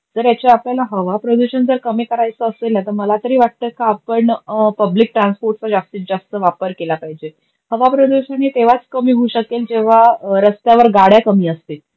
तर याची आपल्याला हवा प्रदूषण जर कमी करायच असेल, नाहीतर मला तरी वाटत का आपण पब्लिक ट्रान्सपोर्ट वर जास्तीत जास्त वापर केला पाहिजे. हवा प्रदूषण हे तेव्हाच कमी होऊ शकेल जेव्हा रस्त्यावर गाड्या कमी असतील.